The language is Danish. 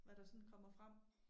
Hvad der sådan kommer frem